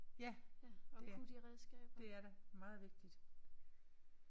Ja det er. Det er det. Meget vigtigt